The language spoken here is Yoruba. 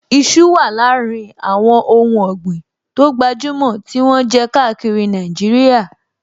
Iṣu wà láàrin àwọn ohùn ọ̀gbìn tó gbajúmọ̀ tí wọ́n jẹ káàkiri Nàìjíríà